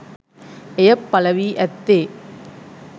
එය පලවී ඇත්තේ